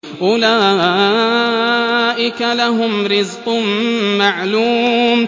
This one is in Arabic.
أُولَٰئِكَ لَهُمْ رِزْقٌ مَّعْلُومٌ